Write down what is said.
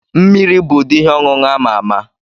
Mmiri bụ ụdị ihe ọṅụṅụ ama ama.